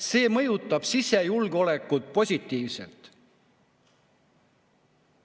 See mõjutab sisejulgeolekut positiivselt!